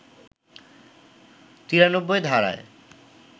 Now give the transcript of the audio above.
৯ ৩ ধারায়